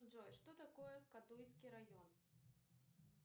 джой что такое кадуйский район